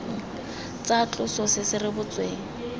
tsa tloso se se rebotsweng